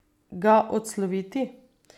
Ga odsloviti.